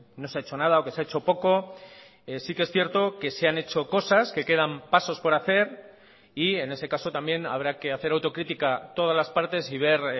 no se ha hecho nada o que se ha hecho poco sí que es cierto que se han hecho cosas que quedan pasos por hacer y en ese caso también habrá que hacer autocrítica todas las partes y ver